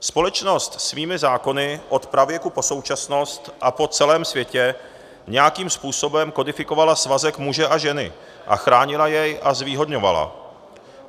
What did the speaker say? Společnost svými zákony od pravěku po současnost a po celém světě nějakým způsobem kodifikovala svazek muže a ženy a chránila jej a zvýhodňovala.